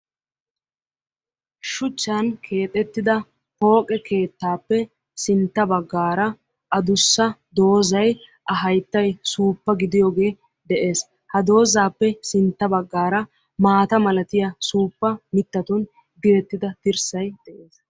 Shuchchan keexettida pooqe keettappe sintta baggaara adussa doozay a hayittay suuppa gidiyooge de'ees, ha doozaappe sintta baggaara maata malatiya suuppa mittattun direttida dirssay de'ees.